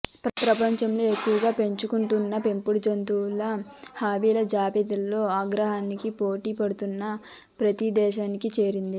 ప్రపంచంలో ఎక్కువగా పెంచుకుంటున్న పెంపుడు జంతువుల హాబీల జాబితాలో అగ్రస్థానానికి పోటీ పడుతూ ప్రతి దేశానికి చేరింది